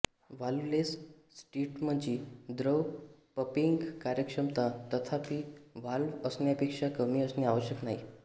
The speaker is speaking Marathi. वाल्व्हलेस सिस्टमची द्रव पंपिंग कार्यक्षमता तथापि व्हॉल्व्ह असण्यापेक्षा कमी असणे आवश्यक नाही